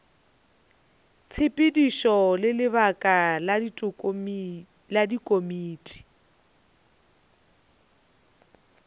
tshepedišo le lebaka la dikomiti